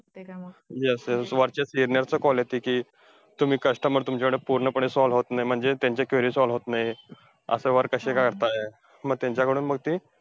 Yes yes वरच्या senior चा call येतो कि, तुम्ही customer तुमच्याकडे पूर्णपणे solve होत नाही, म्हणजे त्यांचे query solve होत नाही, असं work कशे काय करताय? मग त्यांच्याकडून मग ते,